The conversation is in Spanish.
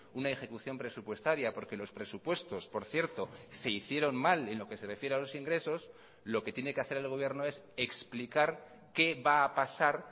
una ejecución presupuestaria porque los presupuestos por cierto se hicieron mal en lo que se refiere a los ingresos lo que tiene que hacer el gobierno es explicar qué va a pasar